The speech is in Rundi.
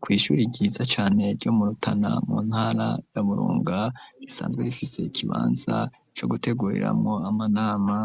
Kw'ishuri ryiza cane ryo murutana mu ntara yamurunga risanzwe rifise ikibanza co gutegureramwo amanama